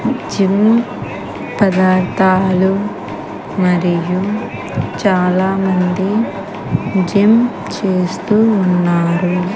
Gym పదార్థాలు మరియు చాలామంది జిమ్ చేస్తూ ఉన్నారు.